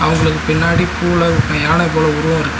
அவங்களுக்கு பின்னாடி பூவுல யானை போல உருவோ இரு--